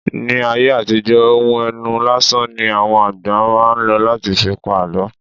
Ní ayé àtijọ́ ohùn ẹnu lásán ní àwọn àgbà máa ń ló láti fi pa àlọ́